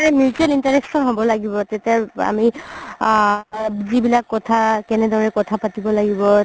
mutual interaction হ'ব লাগিব তেতিয়া আমি আ যিবিলাক কথা কেনেদৰে কথা পাতিব লাগিব